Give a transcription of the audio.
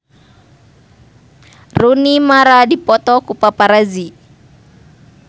Rooney Mara dipoto ku paparazi